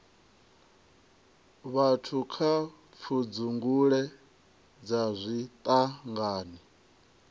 vhathu kha pfudzungule dza zwiṱangani